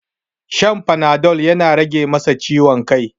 Shan panadol yana rage masa ciwon kai.